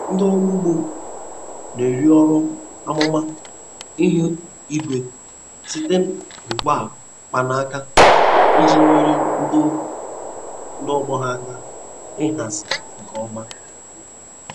Ndị ọrụ ugbo na-ere ọrụ amụma ihu igwe site na ngwa mkpanaka iji nyere ndị ọgbọ ha aka ịhazi nke ọma.